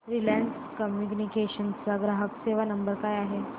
Reliance Communications चा ग्राहक सेवा नंबर काय आहे